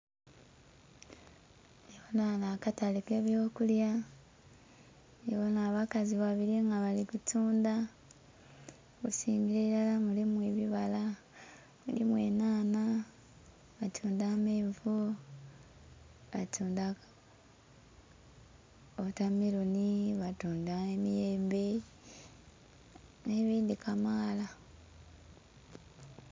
Ndhi bonha ghanho akatale aka eby'okulya nh'abakazi babili nga bali kutundha. Okusingila ilala mulimu ebibala, mulimu enhanha, batundha amenvu, baatundha wotameloni, baatundha emiyembe nhe bindhi kamaala.